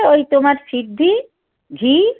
ওই তোমার সিদ্ধি ঘি